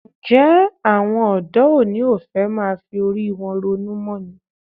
Ǹjẹ́ àwọn ọ̀dọ́ òní ò fẹ́ máa fi orí wọn ronú mọ́ ni?